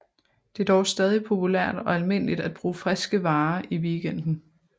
Det er dog stadig populært og almindeligt at bruge friske varer i weekenden